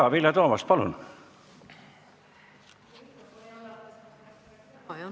Jaa, Vilja Toomast, palun!